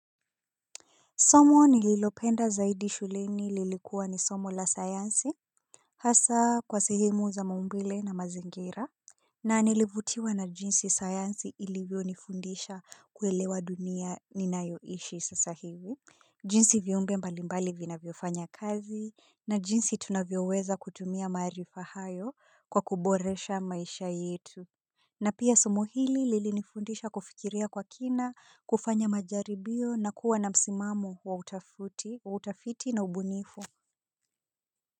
Somo nililopenda zaidi shuleni lilikuwa ni somo la sayansi. Hasa kwa sehemu za maumbile na mazingira na nilivutiwa na jinsi sayansi ilivyonifundisha kuelewa dunia ninayoishi sasa hivi. Jinsi viumbe mbalimbali vinavyofanya kazi na jinsi tunavyoweza kutumia maarifa hayo kwa kuboresha maisha yetu na pia somo hili lilinifundisha kufikiria kwa kina, kufanya majaribio na kuwa na msimamo wa utafuti na ubunifu.